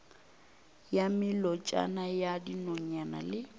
ya melotšana ya dinonyane le